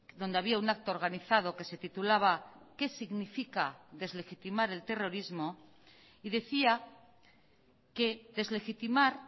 donde había un acto organizado que se titulaba qué significa deslegitimar el terrorismo y decía que deslegitimar